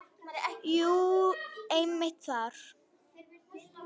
Jú, einmitt þar.